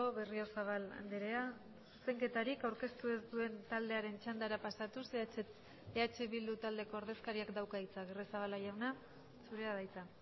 berriozabal andrea zuzenketarik aurkeztu ez duen taldearen txandara pasatuz eh bildu taldeko ordezkariak dauka hitza agirrezabala jauna zurea da hitza